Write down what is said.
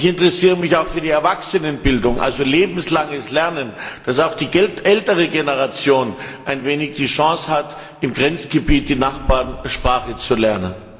Ich interessiere mich auch für die Erwachsenenbildung, also lebenslanges Lernen, so dass auch die ältere Generation eine Chance hat, im Grenzgebiet die Nachbarsprache zu lernen.